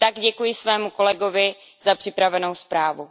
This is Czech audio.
I tak děkuji svému kolegovi za připravenou zprávu.